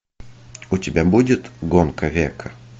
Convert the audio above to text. у тебя будет гонка века